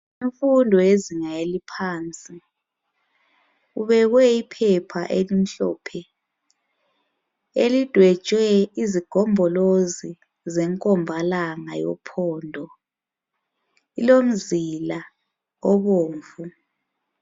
Imfundo yezinga eliphansi, kubekwe iphepha elimhlophe, elidwetshwe izigombolozi zenkombalanga yophondo, ilomzila obomvu.